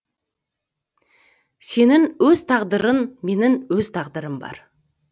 сенің өз тағдырың менің өз тағдырым бар